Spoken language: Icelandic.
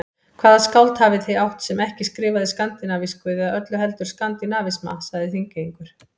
Hvaða skáld hafið þið átt, sem ekki skrifaði skandinavísku eða öllu heldur skandinavisma, sagði Þingeyingur.